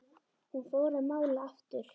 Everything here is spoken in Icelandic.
Hún fór að mála aftur.